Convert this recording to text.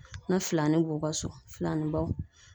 Na filanin n'u ka so filanin baw